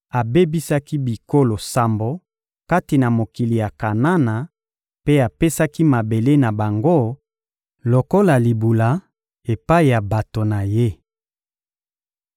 abebisaki bikolo sambo kati na mokili ya Kanana mpe apesaki mabele na bango lokola libula epai ya bato na Ye.